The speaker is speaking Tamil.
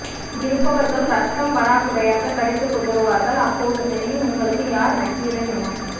இங்கிருப்பவர்கள் இரத்தம் வராக்குறையாக கடித்து குதறுவார்கள் அப்போது தெரியும் உங்களுக்கு யார் நக்கீரன் என